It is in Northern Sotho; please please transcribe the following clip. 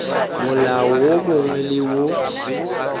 molao wo mongwe le wo